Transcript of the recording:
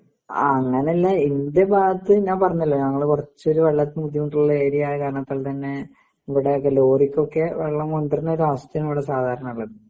അങ്ങനെ അല്ല ഇന്റെ ഭാഗത്ത് ഞാൻ പറഞ്ഞല്ലോ? ഞങ്ങള് കുറച്ചോര് വെള്ളത്തിന് ബുദ്ധിമുട്ടുള്ള ഏരിയ ആയ കാരണത്താൽ തന്നെ ഇവിടെ ഒക്കെ ലോറിക്ക് ഒക്കെ വെള്ളം കൊണ്ട് വരുന്ന അവസ്ഥയാണ് ഇവിടെ സാധാരണ ഉള്ളത്.